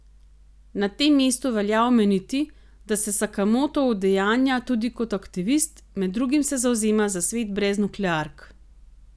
Na tem mestu velja omeniti, da se Sakamoto udejanja tudi kot aktivist, med drugim se zavzema za svet brez nukleark.